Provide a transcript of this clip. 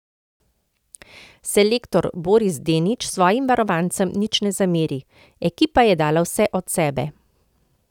Selektor Boris Denič svojim varovancem nič ne zameri: 'Ekipa je dala vse od sebe.